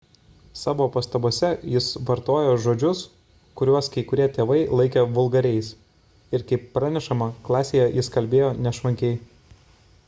savo pastabose jis vartojo žodžius kuriuos kai kurie tėvai laikė vulgariais ir kaip pranešama klasėje jis kalbėjo nešvankiai